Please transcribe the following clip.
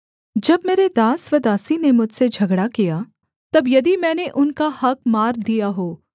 जब मेरे दास व दासी ने मुझसे झगड़ा किया तब यदि मैंने उनका हक़ मार दिया हो